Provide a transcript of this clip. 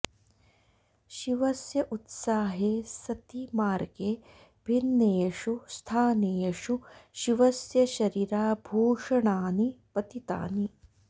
शिवस्य उत्साहे सति मार्गे भिन्नेषु स्थानेषु शिवस्य शरीराभूषणानि पतितानि